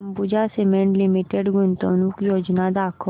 Ambuja cement limited गुंतवणूक योजना दाखव